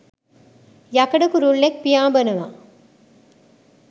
යකඩ කුරුල්ලෙක් පියාඹනවා.